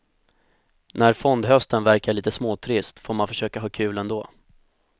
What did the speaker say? När fondhösten verkar lite småtrist får man försöka ha kul ändå.